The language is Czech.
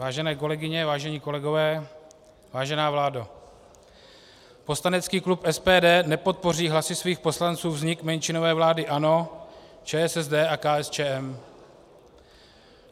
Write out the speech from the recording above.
Vážené kolegyně, vážení kolegové, vážená vládo, poslanecký klub SPD nepodpoří hlasy svých poslanců vznik menšinové vlády ANO, ČSSD a KSČM.